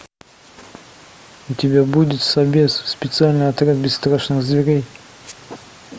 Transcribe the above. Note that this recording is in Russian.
у тебя будет собез специальный отряд бесстрашных зверей